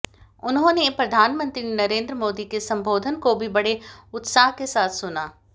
उन्होंने प्रधानमंत्री नरेंद्र मोदी के संबोधन को भी बड़े उत्साह के साथ सुना